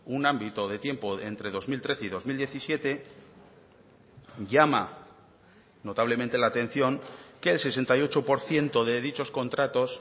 un ámbito de tiempo entre dos mil trece y dos mil diecisiete llama notablemente la atención que el sesenta y ocho por ciento de dichos contratos